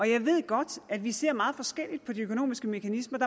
jeg ved godt at vi ser meget forskelligt på de økonomiske mekanismer